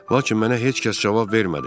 Lakin mənə heç kəs cavab vermədi.